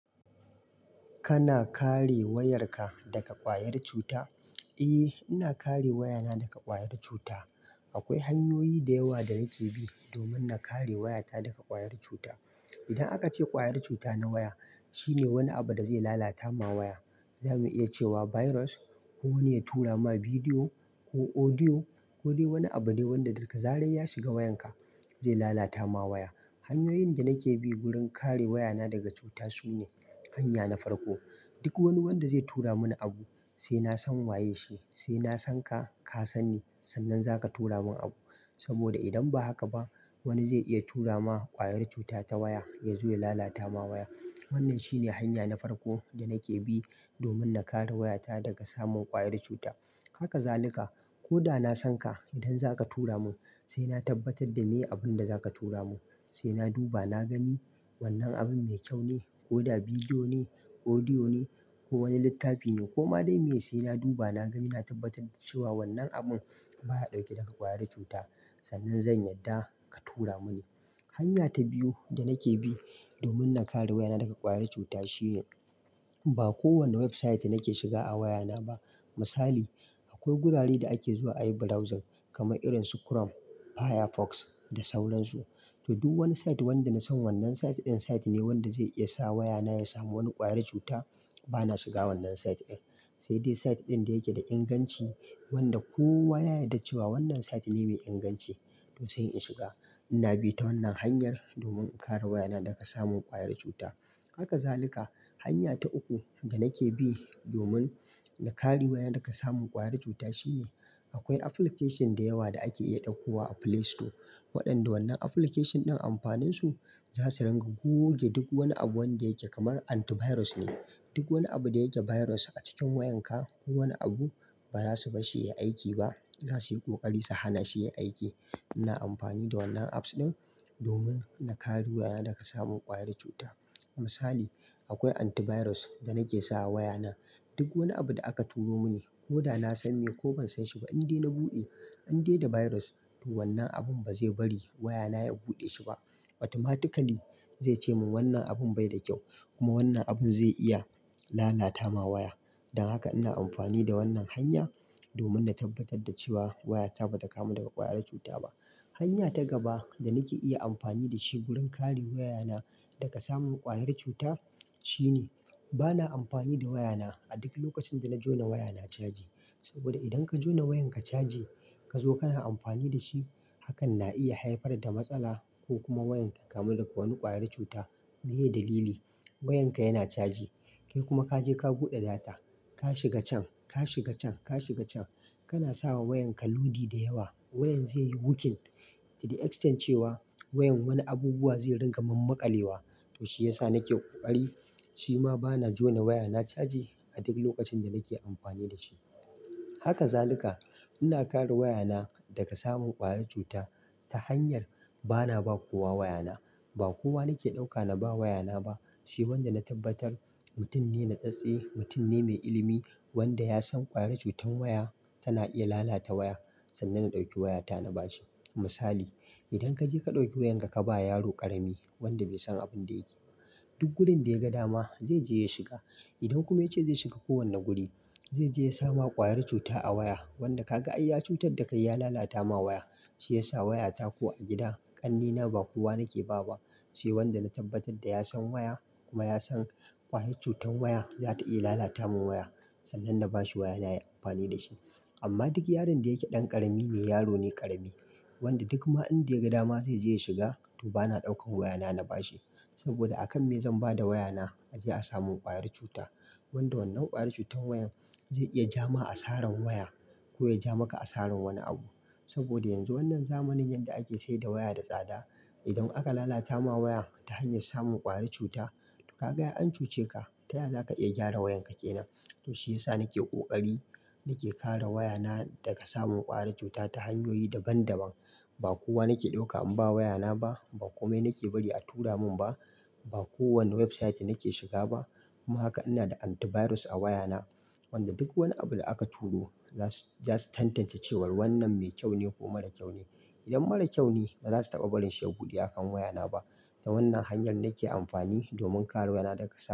Kana kare wayarka daga ƙwayar cuta? Eh, ina kare wayana daga ƙwayar cuta. Akwai hanyoyi da yawa da nake bi domin na kare wayata daga ƙwayar cuta. Idan aka ce ƙwayar cuta na waya, shine wani abu da zai lalata ma waya. Zamu iya cewa Virus, kowani ya turama video, ko Audio kodai wani abudai wanda daga zarar yashiga wayar ka zai lalata maka waya. Hanyoyin da nake bi wurin kare wayana daga cuta sune, hanya na farko, duk wani wanda zai tura mini abu sai na san waye shi, sai na san ka, ka san ni, sannan za ka tura min abu. Saboda idan ba haka ba wani zai iya tura ma ƙwayar cuta ta waya ya zo ya lalata ma waya. Wannan shine hanya na farko da nake bi domin na kare wayata daga samun ƙwayar cuta. Haka zalika, ko da na san ka idan zaka tura mun sai na tabbatar da me abin da zaka tura mun. Sai na duba na gani wannan abun mai kyau ne ko da bidiyo ne, audio ne ko wani littafi ne ko ma dai me, sai na duba na gani na tabbatar da cewa wannan abun baya ɗauke da ƙwayar cuta sannan zan yarda ka tura muni. Hanya ta biyu da nake bi domin na kare wayana daga ƙwayar cuta shine ba kowane website nake shiga a wayana ba. Misali, akwai gurare da ake zuwa a yi browsing kamar irin su Chrome, Firefox da sauran su. To, duk wani site wanda na san wannan site ɗin site ne wanda zai iya sa wayana ya samu wani ƙwayar cuta, bana shiga wannan site ɗin. Sai dai site ɗin da yake da inganci wanda kowa ya yada cewa wannan site ne mai inganci to sai in shiga. Ina bi ta wannan hanyar domin in kare wayana daga samun ƙwayar cuta. Haka zalika, hanya ta uku da nake bi domin na kare waya daga samun ƙwayar cuta shine akwai application da yawa da ake iya ɗauko wa a Play Store. Waɗanda wannan application ɗin amfanin su za su ringa goge duk wani abu wanda yake kamar antivirus ne. Duk wani abu da yake virus a cikin wayanka, ko wani abu ba za su barshi ya aiki ba. Za su yi ƙoƙari su hana shi yai aiki. Ina amfani da wannan apps ɗin domin na kare wayana daga samun ƙwayar cuta. Misali; akwai anti virus danake sama wayana. Duk wani abu da aka turo muni ko da na san me ko ban san shi ba, in dai na buɗe an dai da virus to wannan abun ba zai bari wayana ya buɗe shi ba. Automatically zai ce min wannan abun bai da kyau kuma wannan abun zai iya lalata ma waya. Dan haka ina amfani da wannan hanya domin na tabbatar da cewa wayata ba ta kamu daga ƙwayar cuta ba. Hanya ta gaba da nake iya amfani da shi wurin kare wayana daga samun ƙwayar cuta shine bana amfani da wayana a duk lokacin da na jona waya na caji. Saboda idan ka jona wayan ka caji ka zo kana amfani da shi hakan na iya haifar da matsala ko kuma wayan ki kamu daga wani ƙwayar cuta. Me ye dalili? Wayanka yana caji. Kai kuma ka je ka buɗe data, ka shiga can, ka shiga can, ka shiga can. Kana sawa wayanka lodi da yawa. Wayan zaiyi Hocking, to the extend cewa wayan wani abubuwa zairinka mammakalewa to shi ya sa nake ƙoƙari, shima bana jona waya na caji a duk lokacin da nake amfani da shi. Haka zaluka ina kare wayana daga samun ƙwayar cuta ta hanyar bana ba kowa wayana. Ba kowa nake ɗauka na ba wayana ba. Sai wanda na tabbatar mutum ne na tsatse, mutum ne mai ilimi wanda ya san ƙwayar cutar waya tana iya lalata waya. Sannan na ɗauki wayata na ba shi. Misali, idan ka je ka ɗauki wayan ka ka ba yaro ƙarami wanda bai san abin da yake ba, duk wurin da ya ga dama zai je ya shiga. Idan kuma ya ce zai shiga kowane guri, zai je ya sama ƙwayar cuta a waya. Wanda ka ga ai ya cutar da kai ya lalata ma waya. Shi ya sa wayata ko a gida ƙannena ba kowa nake ba ba. Sai wanda na tabbatar da ya san waya kuma ya san ƙwayar cutar waya za ta iya lalata min waya. Sannan na ba shi waya na yayi amfani da shi. Amma duk yaron da yake ɗan karamine, yaro ne karami wanda duk ma in da ya ga dama zai je ya shiga to bana ɗaukan wayana na ba shi. Saboda a kan me zan ba da wayana a je a samun ƙwayar cuta. Wanda wannan ƙwayar cutar wayan zai iya ja ma a saran waya ko ya ja maka a saran wani abu. Saboda yanzu wannan zamanin yadda ake sayedda waya da tsada. Idan aka lalata ma waya ta hanyar samun ƙwayar cuta, to ka ga ai ancuce ka, ta ya za ka iya gyara wayan ka kenan? To shiyassa nake kokari nake kare wayana daga samun kwayar cuta ta hanyoyi daban-daban ba kowa nake ɗauka in ba wayana ba, ba kome nake bari a tura mun ba. Ba kowane website nake shiga ba. Kuma haka ina da antivirus a wayana wanda duk wani abu da aka turo za su, za su tantance cewar wannan mai kyau ne ko mara kyau ne. Idan mara kyau ne ba za su taɓa barin shi ya buɗe a kan wayana ba. Ta wannan hanyar nake amfani domin kare wayana daga samun.